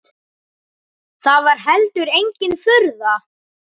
Það var heldur engin furða.